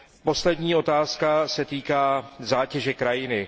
Poslední otázka se týká zátěže krajiny.